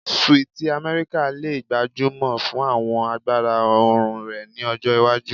Sweeti Amẹrika le gbajúmọ̀ fún àwọn agbára oòrùn rẹ ni ọjọ iwaju